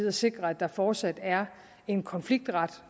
at sikre at der fortsat er en konfliktret